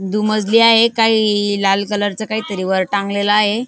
दु मजली आहे काही लाल कलर चा काहीतरी वर टांगलेलं आहे.